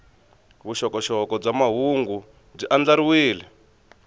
vuxokoxoko bya mahungu byi andlariwile